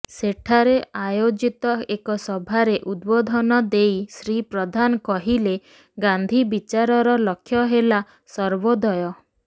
ସେଠାରେ ଆୟୋଜିତ ଏକ ସଭାରେ ଉଦ୍ବୋଧନ ଦେଇ ଶ୍ରୀ ପ୍ରଧାନ କହିଲେ ଗାନ୍ଧୀ ବିଚାରର ଲକ୍ଷ୍ୟ େହଲା ସର୍ବୋଦୟ